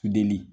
Delili